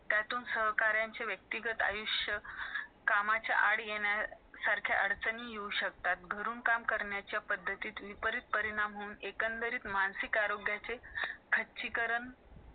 किती देवाकडं आपण काहीपण मागितलं तर देव आपल्याला देतो म्हणून त्यांनी परत सहा महिने picture पुढे नेला मग त्याची आई ठीक होते त्या मुली सोबत त्याचं लग्न होत आणि त्या भिकारी लोकांसाठी तो चांगली घर किंवा त्यांना कोणी त्रास देणार नाही या